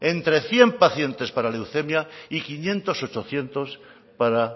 entre cien pacientes para leucemia y quinientos ochocientos para